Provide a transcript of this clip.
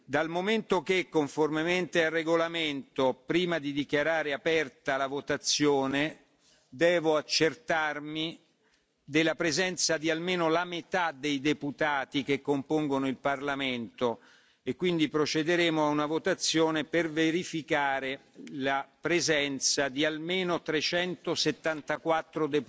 Dal momento che, conformemente al regolamento, prima di dichiarare aperta la votazione devo accertarmi della presenza di almeno la metà dei deputati che compongono il parlamento, procederemo a una votazione per verificare la presenza di almeno 374